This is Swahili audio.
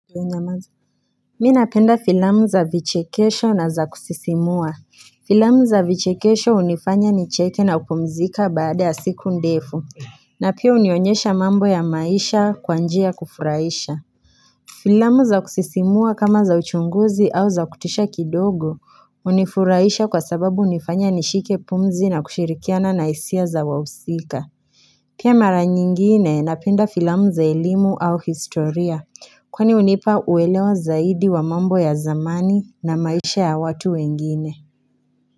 Mimi napenda filamu za vichekesho na za kusisimua Filamu za vichekesho hunifanya ni cheke na kupumzika baada ya siku ndefu na pia hunionyesha mambo ya maisha kwa njia ya kufurahisha Filamu za kusisimua kama za uchunguzi au za kutisha kidogo hunifurahisha kwa sababu hunifanya nishike pumzi na kushirikiana na hisia za wahusika Pia mara nyingine napenda filamu za elimu au historia Kwani hunipa uelewa zaidi wa mambo ya zamani na maisha ya watu wengine.